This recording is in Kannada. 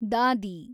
ದಾದಿ